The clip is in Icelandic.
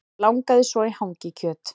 Langaði svo í hangikjöt